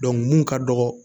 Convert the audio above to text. mun ka dɔgɔ